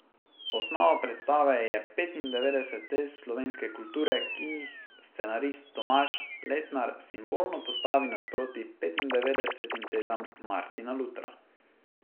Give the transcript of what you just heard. Osnova predstave je petindevetdeset tez slovenske kulture, ki jih scenarist Tomaž Letnar simbolno postavi nasproti petindevetdesetim tezam Martina Lutra.